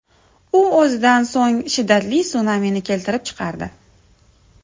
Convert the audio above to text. U o‘zidan so‘ng shiddatli sunamini keltirib chiqardi.